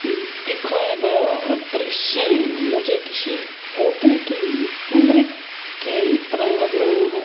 दिखाया गया दृश्य मुझे किसी होटल की कमरे की तरह लग रहा है।